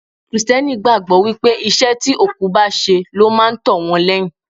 Kristẹni gbàgbọ́ wípé iṣẹ́ tí òkú bá ṣe ló máa tó wọn lẹ́yìn.